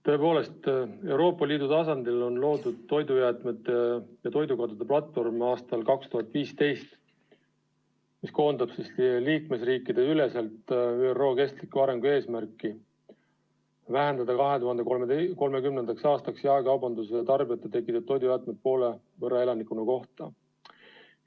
Tõepoolest, Euroopa Liidu tasandil on aastal 2015 loodud toidujäätmete ja toidukadude platvorm, mis koondab liikmesriikideüleselt ÜRO kestliku arengu eesmärki vähendada 2030. aastaks jaekaubanduse ja tarbijate tekitatud toidujäätmeid poole võrra elaniku kohta.